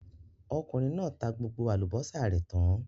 Okùnrin náà tá gbogbo àlùbọ́sà rẹ̀ tán.